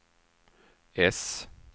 S